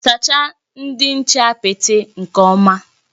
Sachaa ndị nche apịtị nke ọma!